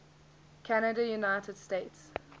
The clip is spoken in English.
canada united states